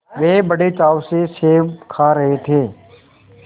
वे बड़े चाव से सेब खा रहे थे